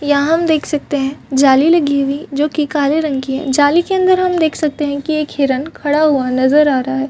यहाँ हम देख सकते है जाली लगी हुई जो काले रंग की है जाली के अंदर हम देख सकते है की एक हिरन खड़ा हुआ नजर आ रहा है।